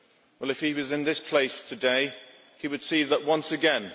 Well, if he was in this place today, he would see that once again.